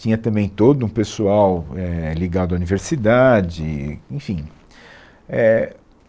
Tinha também todo um pessoal é ligado à universidade, enfim. é